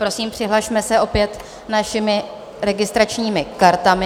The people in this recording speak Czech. Prosím, přihlasme se opět našimi registračními kartami.